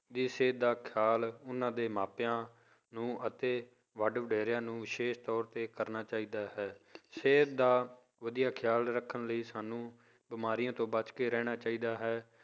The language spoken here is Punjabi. ਦੀ ਸਿਹਤ ਦਾ ਖਿਆਲ ਉਹਨਾਂ ਦੇ ਮਾਪਿਆਂ ਨੂੰ ਅਤੇ ਵੱਡੇ ਵਡੇਰਿਆਂ ਨੂੰ ਵਿਸ਼ੇਸ਼ ਤੌਰ ਤੇ ਕਰਨਾ ਚਾਹੀਦਾ ਹੈ ਸਿਹਤ ਦਾ ਵਧੀਆ ਖਿਆਲ ਰੱਖਣ ਲਈ ਸਾਨੂੰ ਬਿਮਾਰੀਆਂ ਤੋਂ ਬਚਕੇ ਰਹਿਣਾ ਚਾਹੀਦਾ ਹੈ